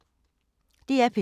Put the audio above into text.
DR P2